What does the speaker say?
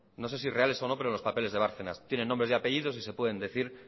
no sé si reales o no pero en los papeles de bárcenas tienen nombres y apellidos y se pueden decir